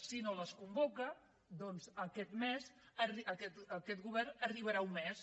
si no les convoca doncs aquest govern arribarà a un mes